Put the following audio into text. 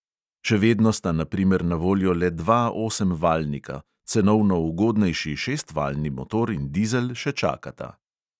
Še vedno sta na primer na voljo le dva osemvaljnika, cenovno ugodnejši šestvaljni motor in dizel še čakata.